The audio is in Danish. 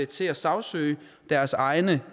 til at sagsøge deres egne